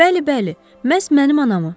Bəli, bəli, məhz mənim anamı.